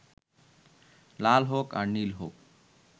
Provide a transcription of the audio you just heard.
লাল হোক আর নীল হোক